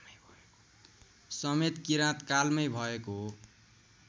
समेत किराँतकालमै भएको